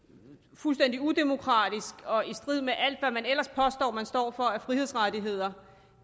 fuldstændig udemokratisk og i strid med alt hvad man ellers påstår at man står for af frihedsrettigheder